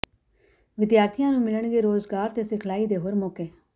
ਵਿਦਿਆਰਥੀਆਂ ਨੂੰ ਮਿਲਣਗੇ ਰੋਜ਼ਗਾਰ ਤੇ ਸਿਖਲਾਈ ਦੇ ਹੋਰ ਮੌਕੇ